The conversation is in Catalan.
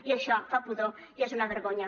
i això fa pudor i és una vergonya